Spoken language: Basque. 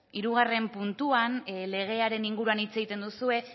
hirugarren puntuan legearen inguruan hitz egiten duzue